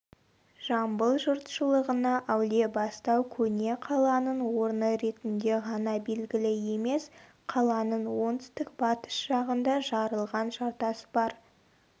жамбыл жұртшылығына әулиебастау көне қаланың орны ретінде ғана белгілі емес қаланың оңтүстік-батыс жағында жарылған жартас бар